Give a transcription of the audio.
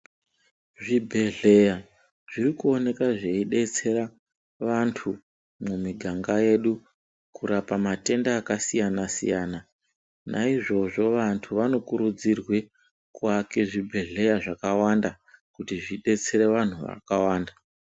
Zvibhedhleya zviri kuoneka zveidetsera vanthu mumiganga yedu kurapa matenda akasiyana siyana naizvozvo vanthu vanokurudzirwe kuaka zvibhedhleya zvakawanda kuti zvidetsere vanthu vakawanda.